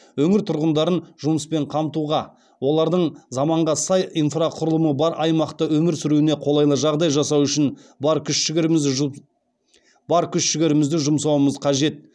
өңір тұрғындарын жұмыспен қамтуға олардың заманға сай инфрақұрылымы бар аймақта өмір сүруіне қолайлы жағдай жасау үшін бар күш жігерімізді жұмсауымыз қажет